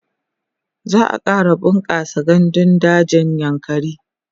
za'a ƙara bunƙasa gandun dajin yankari